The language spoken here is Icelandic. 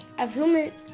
ef þú